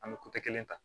An bɛ kelen ta